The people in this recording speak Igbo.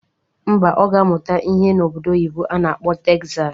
Ḿbà, Ọ ga-amụta ihe n'obodo oyibo a na-akpọ Tegzas